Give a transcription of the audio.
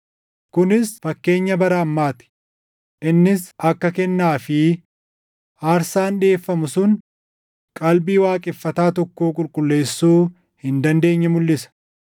Kunis fakkeenya bara ammaa ti; innis akka kennaa fi aarsaan dhiʼeeffamu sun qalbii waaqeffataa tokkoo qulqulleessuu hin dandeenye mulʼisa.